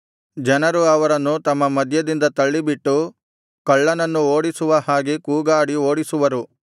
ಜನರು ಅವರನ್ನು ತಮ್ಮ ಮಧ್ಯದಿಂದ ತಳ್ಳಿಬಿಟ್ಟು ಕಳ್ಳನನ್ನು ಓಡಿಸುವ ಹಾಗೆ ಕೂಗಾಡಿ ಓಡಿಸುವರು